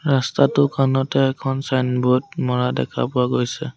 ৰাস্তাটোৰ খনতে এখন ছাইনবোৰ্ড মৰা দেখা পোৱা গৈছে।